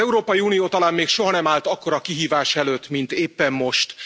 Az Európai Unió talán még soha nem állt akkora kihívás előtt, mint éppen most.